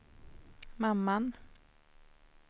mamman